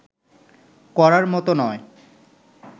করার মতো নয়